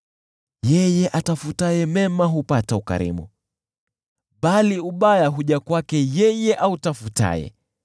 Yeye atafutaye mema hupata ukarimu, bali ubaya huja kwake yeye autafutaye.